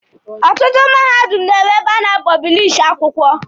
Ọtụtụ mahadum na-enwe ụlọ a na-apọblishi akwụkwọ.